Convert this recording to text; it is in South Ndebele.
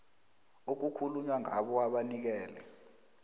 okukhulunywa ngabo abanikele